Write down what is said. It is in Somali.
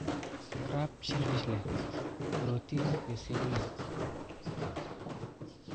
Crab: Shellfish leh borotiin iyo selenium.